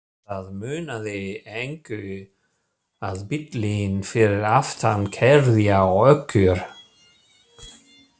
Það munaði engu að bíllinn fyrir aftan keyrði á okkur!